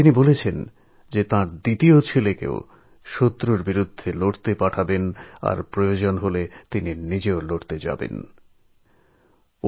তিনি বললেন যে ওঁর অন্য পুত্রকেও দেশের শত্রুদের সঙ্গে লড়াইয়ের জন্য পাঠাবেন এবং প্রয়োজন হলে নিজেও লড়াইয়ের ময়দানে উপস্থিত হবেন